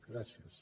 gràcies